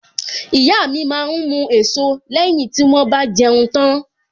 Ìyá mi máa ń mu èso lẹ́yìn tí wón bá jẹun tán.